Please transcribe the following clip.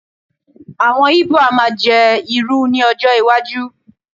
awon ibo a ma je iru ni ọjọ iwaju